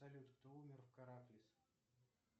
салют кто умер в караклис